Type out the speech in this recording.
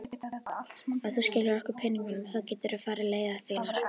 Ef þú skilar okkur peningunum þá geturðu farið leiðar þinnar.